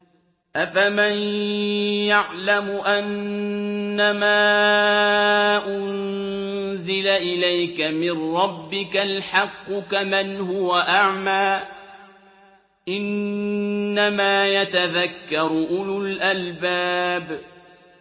۞ أَفَمَن يَعْلَمُ أَنَّمَا أُنزِلَ إِلَيْكَ مِن رَّبِّكَ الْحَقُّ كَمَنْ هُوَ أَعْمَىٰ ۚ إِنَّمَا يَتَذَكَّرُ أُولُو الْأَلْبَابِ